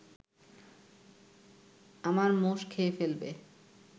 আমার মোষ খেয়ে ফেলবে